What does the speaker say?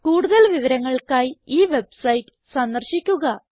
കൂടുതൽ വിവരങ്ങൾക്കായി ഈ വെബ്സൈറ്റ് സന്ദർശിക്കുക